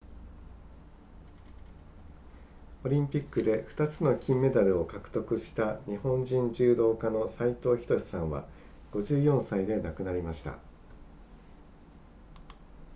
オリンピックで2つの金メダルを獲得した日本人柔道家の斉藤仁さんは54歳で亡くなりました